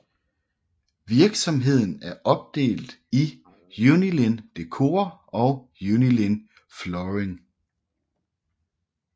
Virksomheden er opdelt i Unilin Decor og Unilin Flooring